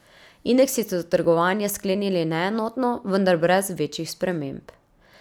Indeksi so trgovanje sklenili neenotno, vendar brez večjih sprememb.